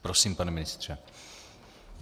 Prosím, pane ministře.